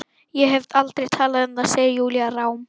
Ég hef aldrei talað um það, segir Júlía rám.